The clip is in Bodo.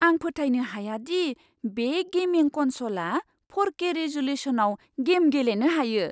आं फोथायनो हाया दि बे गेमिं कनस'लआ फ'रके रिज'ल्युसनआव गेम गेलेनो हायो!